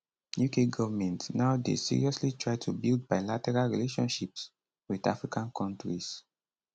uk government now dey seriously try to build bilateral relationships wit african kontris